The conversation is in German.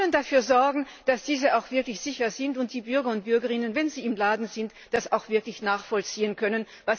Wir wollen dafür sorgen, dass diese auch wirklich sicher sind und dass die Bürgerinnen und Bürger, wenn sie im Laden sind, das auch wirklich nachvollziehen können.